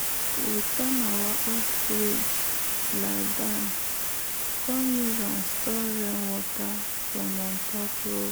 we turn our old fridge lie down come use am store rainwater from ontop roof.